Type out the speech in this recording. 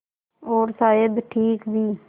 और शायद ठीक भी